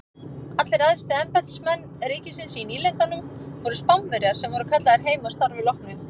Allir æðstu embættismenn ríkisins í nýlendunum voru Spánverjar sem voru kallaðir heim að starfi loknu.